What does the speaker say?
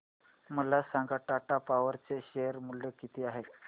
मला सांगा टाटा पॉवर चे शेअर मूल्य किती आहे